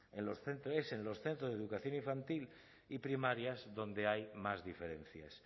en los centros de educación infantil y primaria es donde hay más diferencias